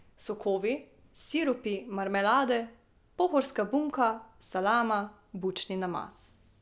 Sokovi, sirupi, marmelade, pohorska bunka, salama, bučni namaz ...